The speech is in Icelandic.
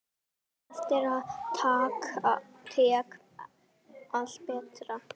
Eftir það gekk allt betur.